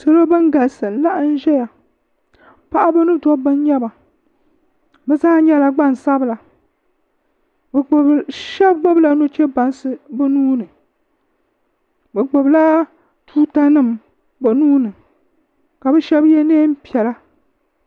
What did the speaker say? Salo bani galisi n laɣim zaya paɣaba ni dabba nyɛba ni zaa nyɛla gbaŋ sabila bi puuni shɛba gbubi la nuchɛbaŋsi bi nuuni bi gbubi la tuuta nima bi nuuni ka bi shɛba ye nɛɛn piɛla.